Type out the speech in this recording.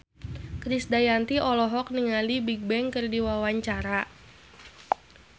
Krisdayanti olohok ningali Bigbang keur diwawancara